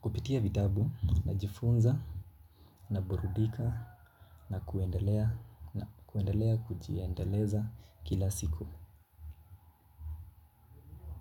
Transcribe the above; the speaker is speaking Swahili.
Kupitia vitabu ninajifunza, naburudika na kuendelea kuendelea kujiendeleza kila siku.